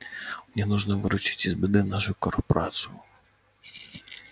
мне нужно выручить из беды нашу корпорацию